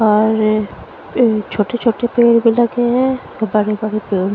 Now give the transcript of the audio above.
और ए छोटे छोटे पेड़ भी लगे हैं और बड़े बड़े पेड़ --